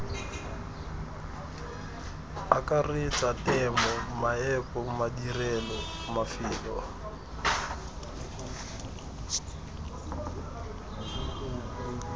akaretsa temo meepo madirelo mafelo